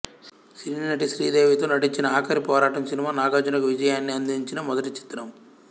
సినీనటి శ్రీదేవితో నటించిన ఆఖరి పోరాటం సినిమా నాగార్జునకు విజయాన్ని అందించిన మొదటి చిత్రం